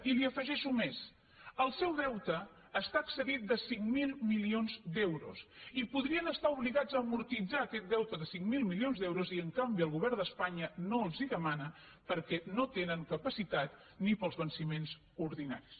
i li afegeixo més el seu deute està excedit de cinc mil milions d’euros i podrien estar obligats a amortitzar aquest deute de cinc mil milions d’euros i en canvi el govern d’espanya no els ho demana perquè no tenen capacitat ni per als venciments ordinaris